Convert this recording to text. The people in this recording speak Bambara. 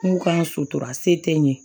N k'u ka sutura se tɛ n ye